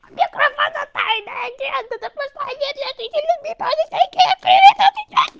кто такой плагиат